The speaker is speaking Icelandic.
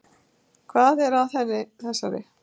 Hvað er að henni þessari?